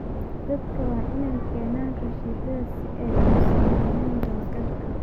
Dadku waa inay keenaan rasiidhada si ay uu sameyaan dawagal.